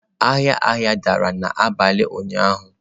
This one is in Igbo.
Ahịa ahịa dara n'abalị ụnyaahụ.